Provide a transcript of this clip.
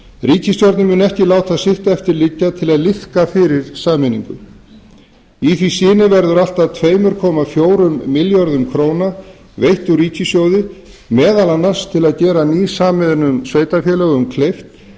ríkisstjórnin mun ekki láta sitt eftir liggja til að liðka fyrir sameiningu í því skyni verður allt að tvö komma fjórum milljörðum króna veitt úr ríkissjóði meðal annars til að gera nýsameinuðum sveitarfélögum kleift